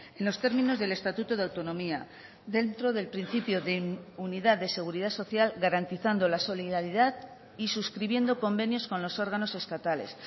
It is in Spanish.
en los términos del estatuto de autonomía dentro del principio de unidad de seguridad social garantizando la solidaridad y suscribiendo convenios con los órganos estatales